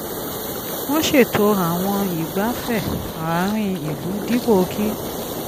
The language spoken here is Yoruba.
wọ́n ṣètò àwọn ìgbáfẹ̀ àárín ìlú dípò kí